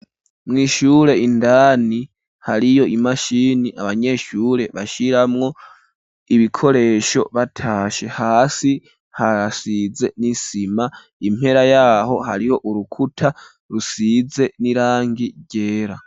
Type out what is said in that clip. Mw'ishure indani, hariyo imashini, abanyeshure, bashiramwo ibikoresho, batashe; hasi hasize n'isima, impera y'aho, hariho urukuta, rusize n'irangi ryera.